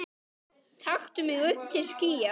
Hvað, það segir enginn neitt.